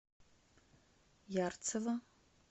ярцево